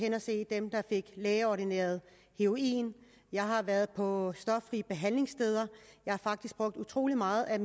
at se dem der fik lægeordineret heroin jeg har været på stoffri behandlingssteder jeg har faktisk brugt utrolig meget af